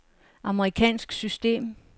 amerikansk system